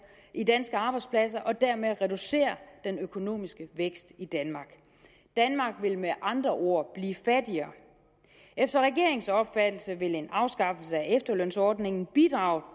i danske arbejdspladser og dermed reducere den økonomiske vækst i danmark danmark vil med andre ord blive fattigere efter regeringens opfattelse vil en afskaffelse af efterlønsordningen bidrage